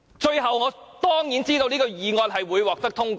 最後，我當然知道這項議案會獲得通過。